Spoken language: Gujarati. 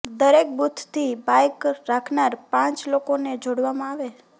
દરેક બુથથી બાઇક રાખનાર પાંચ લોકોને જોડવામાં આવે